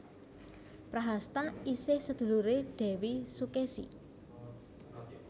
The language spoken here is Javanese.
Prahasta isih seduluré Dèwi Sukesi